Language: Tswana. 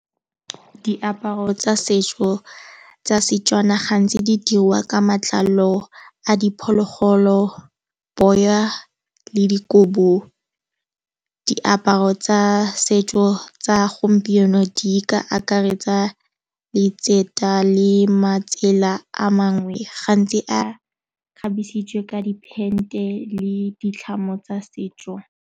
Diaparo tsa setso tsa setswana gantsi di dirwa ka matlalo a diphologolo, boya le dikobo. Diaparo tsa setso tsa gompieno di ka akaretsa letseto di le matsela a mangwe gantsi a kgabisitswe ka depente le ditlhamo tsa setso.